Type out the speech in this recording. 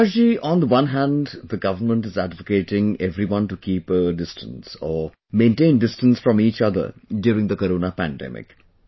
Prakash ji, on one hand the government is advocating everyone to keep a distance or maintain distance from each other during the Corona pandemic